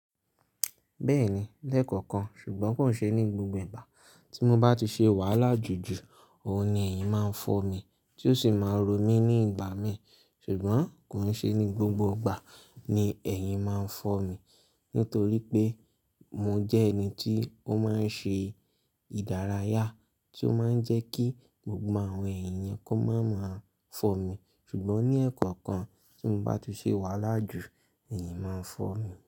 Bẹ́ẹ̀ni, lẹ́kọ̀ọ̀kan, ṣùgbọ́n kò n ṣe ní gbogbo ìgbà. Tí mo bá ti ṣe wàhálà jù jù, òun ni ẹ̀yin máa ń fọ́ mi, tí ó sì máa ń ro mí ní ìgbà mí. Ṣùgbọ́n kò n ṣe ní gbogbo ìgbà ni ẹ̀yin máa ń fọ́ mi, nítorí pé mo jẹ́ ẹni tí ó máa ń ṣe ìdárayá tí ó máa ń jẹ́ kí gbogbo àwọn ẹ̀yin yẹn kó máa máa fọ́ mi. Ṣùgbọ́n ní ẹ̀kọ̀ọ̀kan tí mo bá ti ṣe wàhálà jù, ẹ̀yin máa ń fọ́ mi.